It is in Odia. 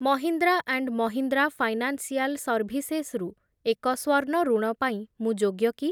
Mahindra and Mahindra financial services ରୁ ଏକ ସ୍ଵର୍ଣ୍ଣ ଋଣ ପାଇଁ ମୁଁ ଯୋଗ୍ୟ କି?